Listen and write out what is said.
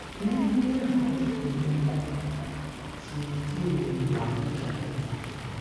mo ń ní àwọn iṣoro ikùn àti diẹ iwon giga